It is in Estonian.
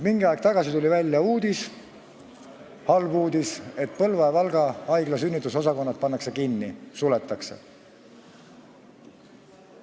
Mingi aeg tagasi tuli uudis, halb uudis, et Põlva ja Valga haigla sünnitusosakond pannakse kinni, suletakse.